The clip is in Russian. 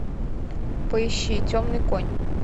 поищи темный конь